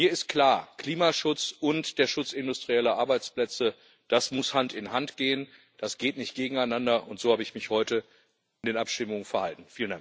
Mir ist klar Klimaschutz und der Schutz industrieller Arbeitsplätze, das muss Hand in Hand gehen das geht nicht gegeneinander und so habe ich mich heute in den Abstimmungen verhalten.